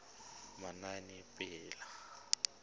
manaanepalo